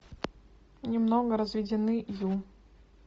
немного разведены ю